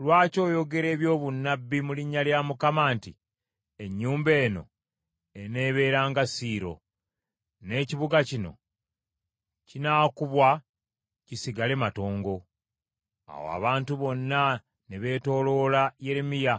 Lwaki oyogera ebyobunnabbi mu linnya lya Mukama nti, Ennyumba eno eneebeera nga Siiro, n’ekibuga kino kinaakubwa kisigale matongo?” Awo abantu bonna ne beetooloola Yeremiya